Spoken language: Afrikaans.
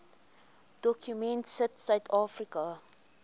dokument sit suidafrika